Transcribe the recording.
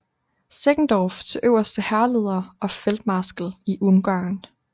Seckendorff til øverste hærleder og feltmarskal i Ungarn